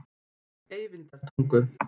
Eyvindartungu